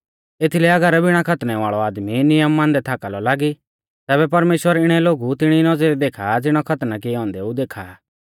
एथीलै अगर बिणा खतना वाल़ौ आदमी नियम मानदै थाका लौ लागी तैबै परमेश्‍वर इणै लोगु तिणी नौज़रिऐ देखा आ ज़िणै खतना किऐ औन्देऊ देखा आ